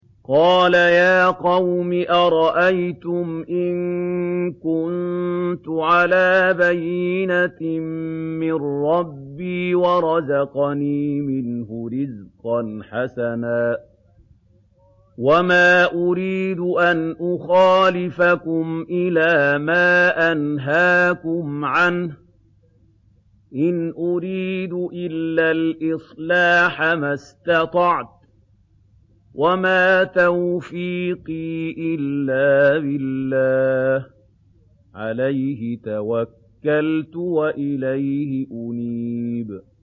قَالَ يَا قَوْمِ أَرَأَيْتُمْ إِن كُنتُ عَلَىٰ بَيِّنَةٍ مِّن رَّبِّي وَرَزَقَنِي مِنْهُ رِزْقًا حَسَنًا ۚ وَمَا أُرِيدُ أَنْ أُخَالِفَكُمْ إِلَىٰ مَا أَنْهَاكُمْ عَنْهُ ۚ إِنْ أُرِيدُ إِلَّا الْإِصْلَاحَ مَا اسْتَطَعْتُ ۚ وَمَا تَوْفِيقِي إِلَّا بِاللَّهِ ۚ عَلَيْهِ تَوَكَّلْتُ وَإِلَيْهِ أُنِيبُ